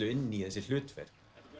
inn í þessi hlutverk